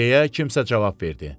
deyə kimsə cavab verdi.